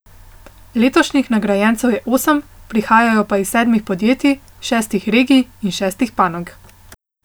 Letošnjih nagrajencev je osem, prihajajo pa iz sedmih podjetij, šestih regij in šestih panog.